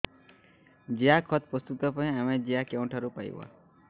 ଜିଆଖତ ପ୍ରସ୍ତୁତ ପାଇଁ ଆମେ ଜିଆ କେଉଁଠାରୁ ପାଈବା